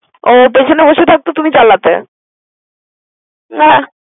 ও পেছনে বসে থাকত তুমি চালাতে?